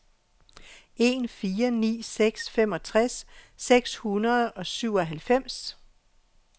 en fire ni seks femogtres seks hundrede og syvoghalvfems